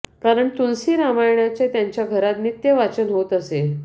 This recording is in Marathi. कारण तुलसी रामायणाचे त्यांच्या घरात नित्य वाचन होत असे